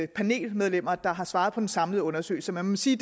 panelmedlemmer der har svaret på den samlede undersøgelse man må sige